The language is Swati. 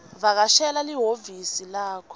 vakashela lihhovisi lakho